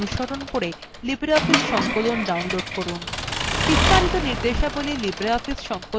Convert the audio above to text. বিস্তারিত নির্দেশাবলী libreoffice সংকলনএর প্রথম tutorialএ আছে